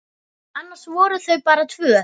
Annars voru þau bara tvö.